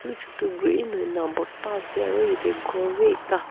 botta ase aru yate gor b ekta.